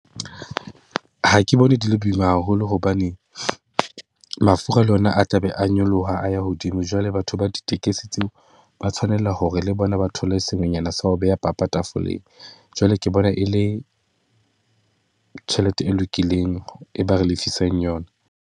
Ha ke bone di le boima haholo hobane mafura le ona a tla be a nyoloha, a ya hodimo. Jwale batho ba ditekesi tseo ba tshwanela hore le bona ba thole sengwenyana sa ho beha papa tafoleng. Jwale ke bona e le tjhelete e lokileng, e ba re lefisang yona.